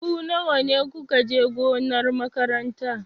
Ku nawa ku ka je gonar makaranta?